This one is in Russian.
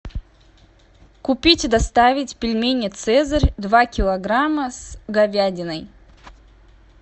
купить и доставить пельмени цезарь два килограмма с говядиной